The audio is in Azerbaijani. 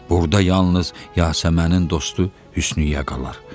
Burda yalnız Yasəmənin dostu Hüsniyyə qalar.